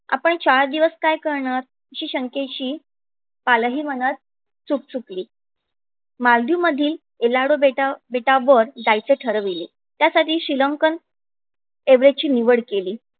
आपण चार दिवस काय करणार अशी शंकेची पालही मनात चूक चुकली मालदीव मधील इलाडू बेटावर जायचे ठरवले. त्यासाठी श्रीलंकन येवरेची निवड केली.